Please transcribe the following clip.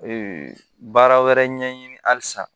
baara wɛrɛ ɲɛɲini halisa